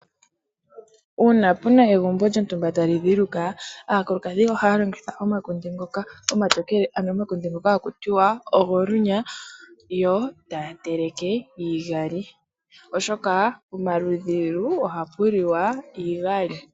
Uuna pu na egumbo lyontumba tali dhiluka, aakulukadhi ohaya longitha omakunde ngoka omatokele, ano omakunde ngoka haku tiwa ogolunya, yo taya teleke iigali oshoka pomaludhilu ohapu liwa iigali.